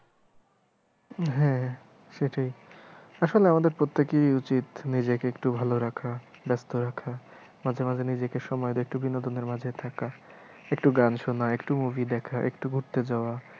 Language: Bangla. হ্যাঁ সেটাই আসলে আমাদের প্রত্যেকেই উচিত নিজেকে একটু ভালো রাখা ব্যাস্ত রাখা মাঝে মাঝে নিজেকে সময়ের একটু বিনোদনের মাঝে থাকা একটু গান শোনা একটু movie দেখা একটু ঘুরতে যাওয়া।